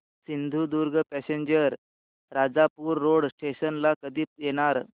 Sindhudurg passenger Rajapur road station ला कधी येणार